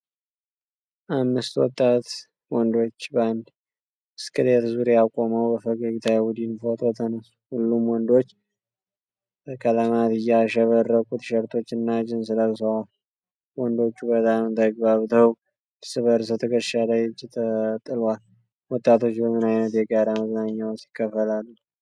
አምስት ወጣት ወንዶች በአንድ ብስክሌት ዙሪያ ቆመው በፈገግታ የቡድን ፎቶ ተነሱ። ሁሉም ወንዶች በቀለማት ያሸበረቁ ቲሸርቶችና ጂንስ ለብሰዋል። ወንዶቹ በጣም ተግባብተው እርስ በእርስ ትከሻ ላይ እጅ ተጥሏል። ወጣቶች በምን አይነት የጋራ መዝናኛ ውስጥ ይካፈላሉ?